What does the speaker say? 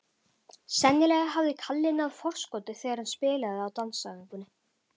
Sennilega hafði Kalli náð forskoti þegar hann spilaði á dansæfingunni.